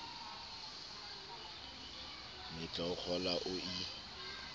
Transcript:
mmetla o kgola o e